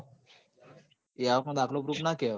એ આવક નો દાખલો proof ના કેવાય